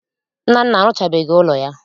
Nnanna arụchabeghị ụlọ ya